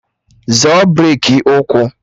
Zọọ breki ụkwụ!